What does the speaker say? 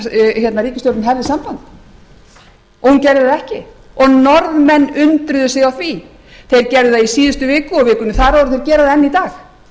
ríkisstjórnin hefði samband en hún gerði það ekki og norðmenn undruðu sig á því þeir gerðu það í síðustu viku og vikunni þar áður og þeir gera það enn í dag